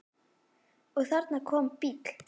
Og þarna kom bíll.